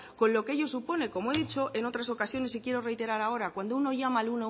con lo que ello supone como he dicho en otras ocasiones y quiero reiterar ahora cuando uno llama al